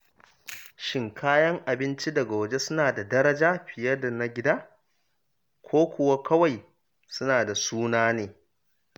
Shin kayan abinci daga waje suna da daraja fiye da na gida, ko kuwa kawai suna da sunan ne?